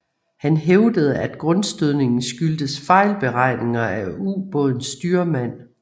Han hævdede at grundstødningen skyldtes fejlberegninger af ubådens styrmand